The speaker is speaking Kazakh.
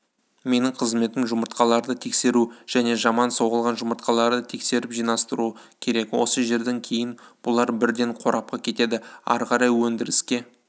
менің қызметім жұмыртқаларды тексеру және жаман соғылған жұмыртқаларды тексеріп жинастыру керек осы жерден кейін бұлар бірден қорапқа кетеді ары қарай өндіріске